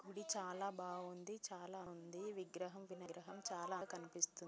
చాలా బాగుంది. చాలా ఆనందంగా ఉంది. ఈ విగ్రహం వినాయకుని విగ్రహం చాలా అందంగా కనిపిస్తుంది.